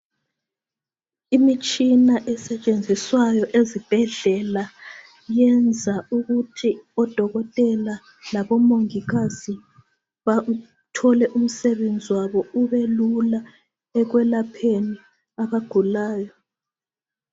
Imitshina esetshenziswayo ezibhedlela yenza ukuthi odokotela labomongikazi bathole umsebenzi wabo ubelula ekwelapheni abagulayo.